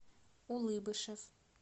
улыбышев